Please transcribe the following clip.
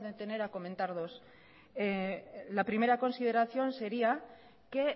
detener a comentar dos la primera consideración sería que